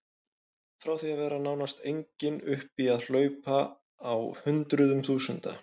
Frá því að vera nánast engin upp í að hlaupa á hundruðum þúsunda.